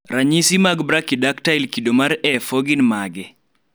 ranyisi mag Brachydactyly kido mar A4 gund mage?